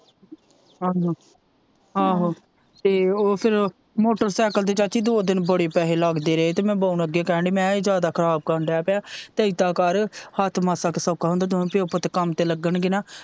ਆਹੋ ਆਹੋ ਤੇ ਉਹ ਫਿਰ ਮੋਟਰਸਾਇਕਲ ਤੇ ਚਾਚੀ ਦੋ ਦਿਨ ਬੜੇ ਪੈਸੇ ਲੱਗ ਦੇ ਰਹੇ ਤੇ ਮੈ ਬਾਊ ਨੂੰ ਅੱਗੇ ਕਹਿਣ ਦੀ ਮੈ ਕਿਹਾ ਇਹ ਜਿਆਦਾ ਖਰਾਬ ਕਰਨ ਦੇ ਪਿਆ ਤੇ ਏਦਾਂ ਕਰ ਹੱਥ ਮਾਸਾ ਕਾ ਸੌਖਾ ਹੁੰਦਾ ਦੋਵੇ ਪਿਓ ਪੁੱਤ ਕੰਮ ਤੇ ਲੱਗਣਗੇ ਨਾ।